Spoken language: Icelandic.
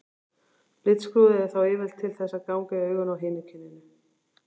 Litskrúðið er þá yfirleitt til þess að ganga í augun á hinu kyninu.